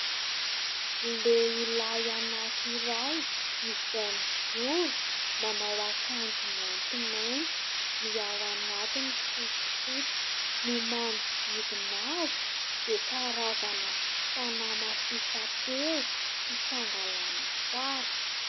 Lehilahy anankiray izay mijoro manao akanjo maintimainty. Ny ao anatiny fotsifotsy. Ny manodidina azy dia karazana fanamafisam-peo sy fangalana sary.